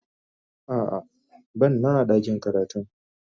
A'a, ban Nan a dakin karatun ba.